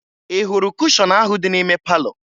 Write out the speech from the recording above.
Ị hụrụ kushọn ahụ dị n'ime palọ?